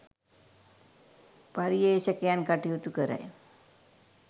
පර්යේෂකයන් කටයුතු කරයි